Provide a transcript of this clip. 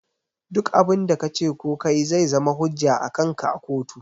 Duk abun da kace ko kayi zai zama hujja akanka a kotu